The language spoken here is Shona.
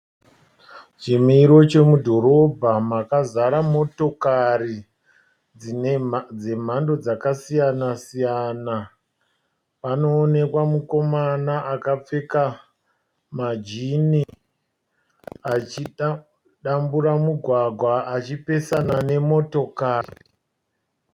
Chimiro chomudhorobha makazara motokari dzemhando dzakasiyanasiyana. Panoonekwa mukomana akapfeka majini achida kudambura mugwagwa achipesana nemotokari.